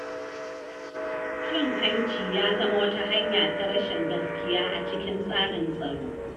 Cin hanci ya zama wata hanya ta rashin gaskiya a cikin tsarin tsaro.